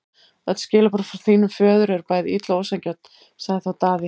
Öll skilaboð frá þínum föður eru bæði ill og ósanngjörn, sagði þá Daði.